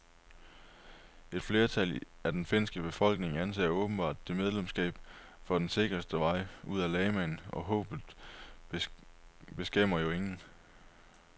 Et flertal af den finske befolkning anser åbenbart det medlemskab for den sikreste vej ud af lamaen, og håbet beskæmmer jo ingen.